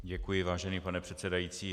Děkuji, vážený pane předsedající.